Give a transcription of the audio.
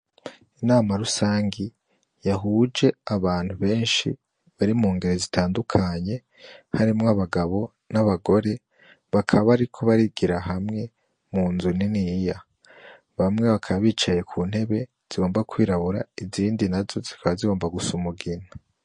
Inama rusangi yahuje abantu benshi bari mu ngere zitandukanye harimwo abagabo n'abagore bakaba bariko barigira hamwe mu nzu niniya bamwe bakaba bicaye ku ntebe zigomba kwirabura izindi na zo zikaba zigomba gusa umugina.